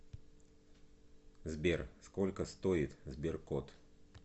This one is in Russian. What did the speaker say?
сбер сколько стоит сберкот